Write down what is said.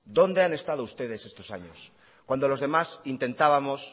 dónde han estado ustedes estos años cuando los demás intentábamos